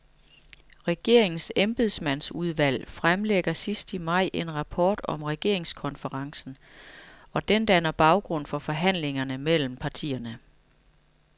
Regeringens embedsmandsudvalg fremlægger sidst i maj en rapport om regeringskonferencen, og den danner baggrund for forhandlingerne mellem partierne.